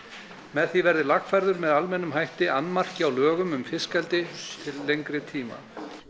með því verði lagfærður með almennum hætti annmarki á lögum um fiskeldi til lengri tíma